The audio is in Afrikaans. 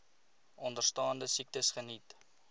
onderstaande siektes geniet